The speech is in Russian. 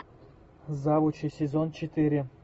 завучи сезон четыре